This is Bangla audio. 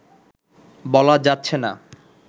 বলা যাচ্ছেনা